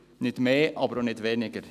nicht mehr, aber auch nicht weniger.